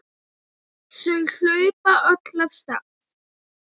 Þau hlaupa öll af stað.